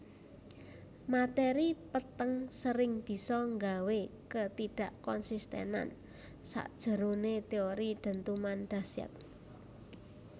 Materi peteng sering bisa nggawe ketidakkonsistenan sakjeroné teori dentuman dahsyat